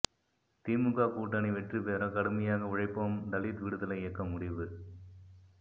திமுக கூட்டணி வெற்றி பெற கடுமையாக உழைப்போம் தலித் விடுதலை இயக்கம் முடிவு